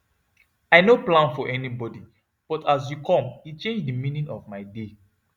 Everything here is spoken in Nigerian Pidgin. i no plan for anybody but as you come e change the meaning of my day